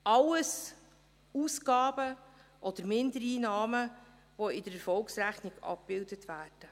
All dies sind Ausgaben oder Mindereinnahmen, die in der Erfolgsrechnung abgebildet werden.